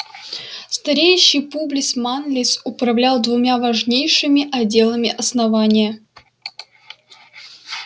стареющий публис манлис управлял двумя важнейшими отделами основания